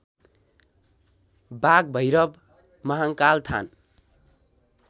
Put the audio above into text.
बाघभैरव महाङ्काल थान